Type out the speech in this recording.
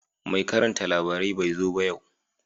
Mai karanta labarai bai zo ba yau